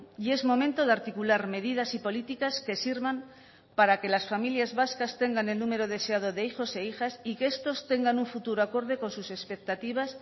y es momento de articular medidas y políticas que sirvan para que las familias vascas tengan el número deseado de hijos e hijas y que estos tengan un futuro acorde con sus expectativas